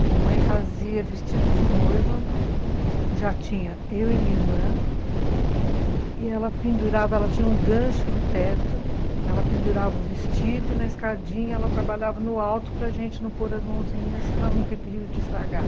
A mamãe fazia vestido de noiva, já tinha eu e minha irmã, e ela pendurava, ela tinha um gancho no teto, ela pendurava o vestido e na escadinha ela trabalhava no alto para gente não pôr as mãozinhas para não ter perigo de estragar.